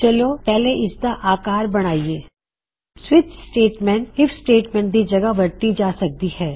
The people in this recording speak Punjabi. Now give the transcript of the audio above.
ਚਲੋ ਪਹਿਲੇ ਇਸਦਾ ਆਕਾਰ ਬਣਾਇਏ ਸਵਿੱਚ ਸਟੇਟਮੈਂਟ ਆਈਐਫ ਸਟੇਟਮੈਂਟ ਦੀ ਜਗਹ ਵਰਤੀ ਜਾ ਸਕਦੀ ਹੈ